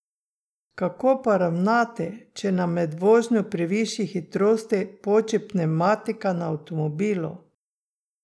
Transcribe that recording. Kako pa ravnati, če nam med vožnjo pri višji hitrosti poči pnevmatika na avtomobilu?